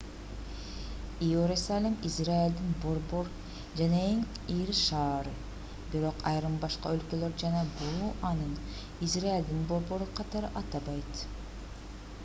иерусалим израилдин борбор жана эң ири шаары бирок айрым башка өлкөлөр жана буу аны израилдин борбору катары атабайт